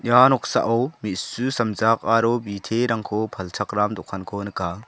ia noksao me·su samjak aro biterangko palchakram dokanko nika.